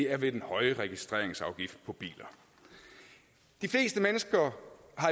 er ved den høje registreringsafgift på biler de fleste mennesker